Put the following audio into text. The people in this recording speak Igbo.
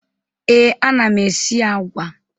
Ee, ana m esi agwa.